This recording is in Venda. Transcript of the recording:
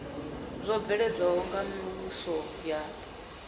zwo bveledzwaho nga mivhuso ya